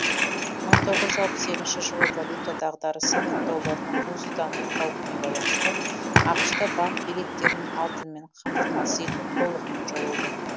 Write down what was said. мың тоғыз жүз алпыс сегізінші жылы валюта дағдарысы мен доллардың құнсыздану қаупіне байланысты ақш та банк билеттерін алтынмен қамтамасыз ету толығымен жойылды